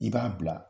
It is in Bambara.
I b'a bila